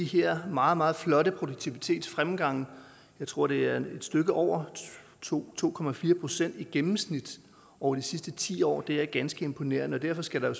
her meget meget flotte produktivitetsfremgang jeg tror det er et stykke over to to procent i gennemsnit over de sidste ti år det er ganske imponerende og derfor skal der